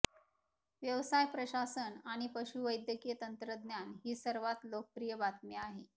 व्यवसाय प्रशासन आणि पशुवैद्यकीय तंत्रज्ञान ही सर्वात लोकप्रिय बातमी आहे